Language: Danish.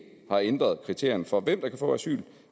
har ændret kriterierne for hvem der kan få asyl